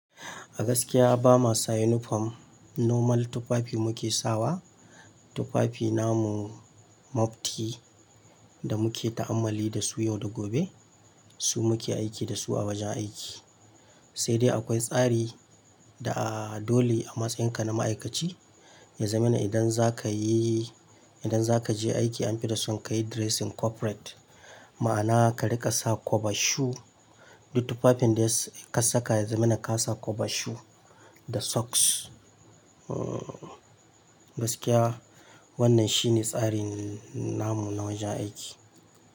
A gaskiya ba masa uniform normal tufafi muke sawa. Tufafi namu mafti da muke ta'ammali da su yau da gobe. Su muke aiki da su a wajen aiki. Sai dai akwai tsari da a dole a matsayinka na ma'aikaci ya zamana idan zaka yi, idan zaka je aiki an fi dasun ka yi dressing corporate. Ma'ana ka riƙa sa cover shoe, duk tufafin da ka saka ya zama ina ka sa cover shoe da socks. Gaskiya wannan shine tsarin namu na wajen aiki.